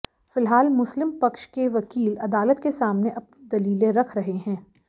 फिलहाल मुस्लिम पक्ष के वकील अदालत के सामने अपनी दलीलें रख रहे हैं